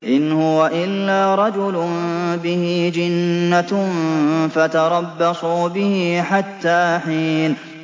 إِنْ هُوَ إِلَّا رَجُلٌ بِهِ جِنَّةٌ فَتَرَبَّصُوا بِهِ حَتَّىٰ حِينٍ